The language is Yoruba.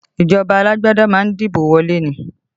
Ìjọba alágbádá ma ń dìbò wọlé ni